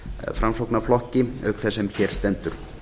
framsóknarflokki auk þess sá sem hér stendur